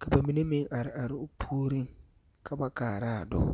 Ka ba mine meŋ are are o puoriŋ ka ba kaara a dͻͻ.